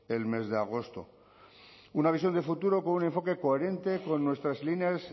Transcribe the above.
el mes de agosto una visión de futuro con un enfoque coherente con nuestras líneas